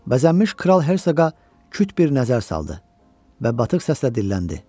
Bəzənmiş kral Hersoqa küt bir nəzər saldı və batıq səslə dilləndi: